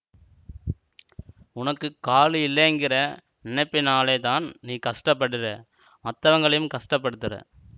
ஒனக்குக் காலு இல்லேங்கிற நெனப்பினாலேதான் நீ கஸ்டப்படறே மத்தவங்களையும் கஸ்டப்படுத்தறே